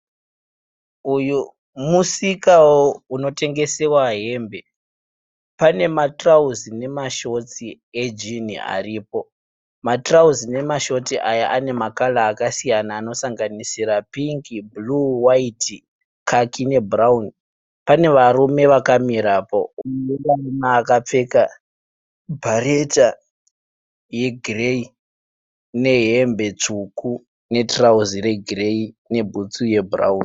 Uyu musika unotengesewa hembe. Pane matirauzi nemashotsi ejini aripo. Matirauzi nemashoti aya ane makara akasiyana anosanganisira pingi, bhuruu, waiti, kaki nebhurawuni. Pane varume akamirapo. Mumwe akapfeka bhareta yegirei nehembe tsvuku netirauzi regireyi nebhutsu yebhurawuni.